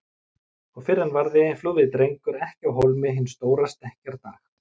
Og fyrr en varði flúði Drengur ekki af hólmi hinn stóra stekkjardag.